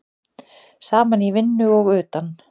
Saman í vinnu og utan.